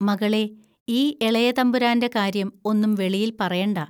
മകളേ, ഈ എളയ തമ്പുരാന്റെ കാര്യം ഒന്നും വെളിയിൽ പറയണ്ട